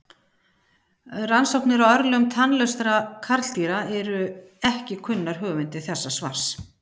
Rannsóknir á örlögum tannlausra karldýra eru ekki kunnar höfundi þessa svars.